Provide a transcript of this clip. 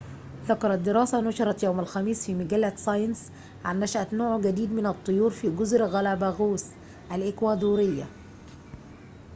ذكرت دراسة نُشرت يوم الخميس في مجلة ساينس عن نشأة نوع جديد من الطيور في جزر غالاباغوس الإكوادورية